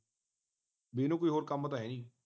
ਬਈ ਇਹਨੂੰ ਕੋਈ ਹੋਰ ਕੰਮ ਤਾਂ ਹੈ ਨਹੀਂ